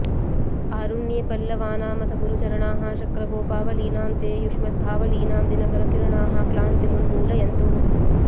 आरुण्ये पल्लवानामथ गुरुचरणाः शक्रगोपावलीनां ते युष्मद्भावलीनां दिनकरकिरणाः क्लान्तिमुन्मूलयन्तु